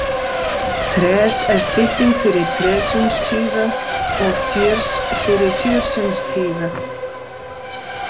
Tres er stytting fyrir tresindstyve og firs fyrir firsindstyve.